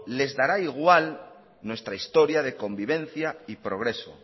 les dará igual nuestra historia de convivencia y progreso